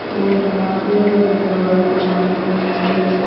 गोल टमाटर है जो जवारी टमाटर कहते हैं।